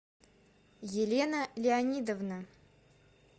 елена леонидовна